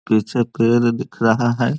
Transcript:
पीछे पेड़ भी दिख रहा है।